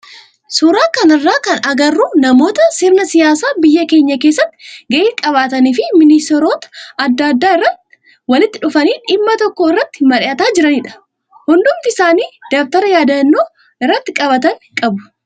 Suuraa kanarraa kan agarru namoota sirna siyaasa biyya keenyaa keessatti gahee qabaatanii fi ministeerota adda addaa irraa walitti dhufuun dhimma tokko irratti mari'ataa jiranidha. Hundumti isaanii dabtara yaadannoo irratti qabatan qabu.